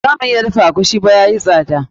Ba za mu iya egusi ba, yayi tsada.